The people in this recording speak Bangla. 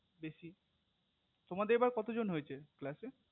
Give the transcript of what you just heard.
বেশি তোমাদের এবার কত জন হয়েছে class এ